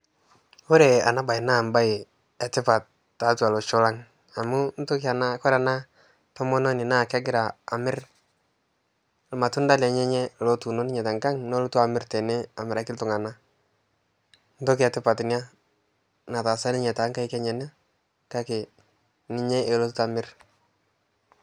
kore anaa bai naa mbai etipat taatua loshoo lang amuu ntokii anaa kore anaa tomononii naa kegiraa amir lmatunda lenyenye lotuuno ninyee tankang nolotuu amir tenee amirakii ltunganaa ntokii ee tipat inia nataasa ninyee tankaik enyanaa kakee ninyee elotutaa amir